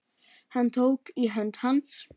Hún tók í hönd hans.